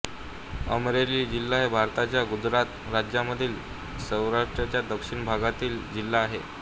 अमरेली जिल्हा भारतातल्या गुजरात राज्यामधील सौराष्ट्राच्या दक्षिण भागातील एक जिल्हा आहे